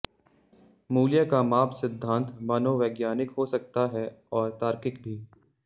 मूल्य का माप सिद्धांत मनोवैज्ञानिक हो सकता है और तार्किक भी